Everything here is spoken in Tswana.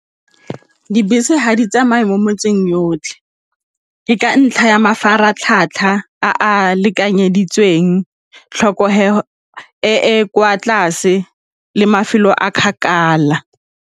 Dibese ga di tsamaye mo metseng yotlhe, ke ka ntlha ya mafaratlhatlha a lekanyeditsweng, tlhokego e e kwa tlase le mafelo a kgakala.